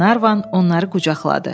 Qlenarvan onları qucaqladı.